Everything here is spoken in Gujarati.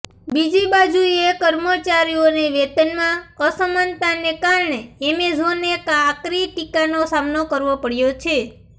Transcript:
બીજી બાજુએ કર્મચારીઓને વેતનમાં અસમાનતાને કારણે એમેઝોને આકરી ટીકાનો સામનો કરવો પડયો છે